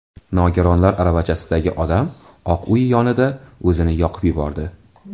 Nogironlar aravachasidagi odam Oq Uy yonida o‘zini yoqib yubordi.